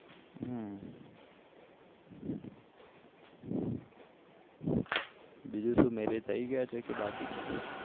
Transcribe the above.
બીજું શું marriage થઇ ગયા છે કે બાકી છે